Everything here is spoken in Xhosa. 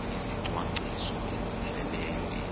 izicwangciso ezipheleleyo ezi